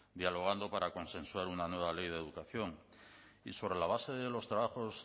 dialogando para consensuar una nueva ley de educación y sobre la base de los trabajos